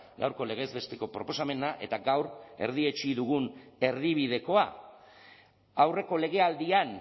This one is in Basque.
gaurko legez besteko proposamena eta gaur erdietsi dugun erdibidekoa aurreko legealdian